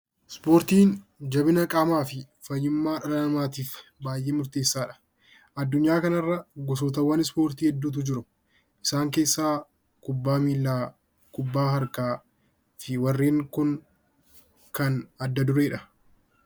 Ispoortiin jabina qaamaa fi fayyummaa dhala namaa tiif baay'ee murteessaa dha. Addunyaa kana irra gosoowwan Ispoortii hedduu tu jiru. Isaan keessaa Kubbaa Miillaa, Kubbaa Harkaa fi warreen kun warreen adda duree dha.